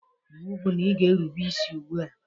Iwu bu na ị ga-erube isi ugbua!